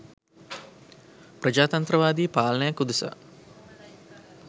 ප්‍රජාතන්ත්‍රවාදී පාලනයක් උදෙසා